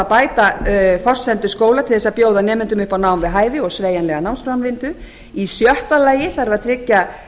bæta þarf forsendur skóla til að bjóða nemendum upp á nám við hæfi og sveigjanlega námsframvindu sjötta tryggja